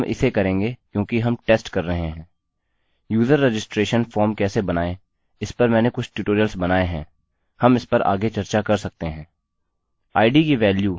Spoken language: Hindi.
यूजर रजिस्ट्रेशन फॉर्म कैसे बनायें इस पर मैंने कुछ ट्यूटोरियल्स बनायें हैं हम इस पर आगे चर्चा कर सकते हैं